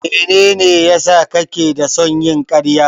Mene ne ya sa kake da son yin karya?